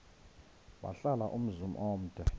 wahlala umzum omde